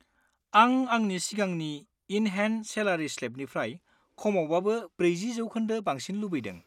आं आंनि सिगांनि इन-हेन्ड सेलारि स्लेबनिफ्राय खमावबाबो 40% बांसिन लुबैदों।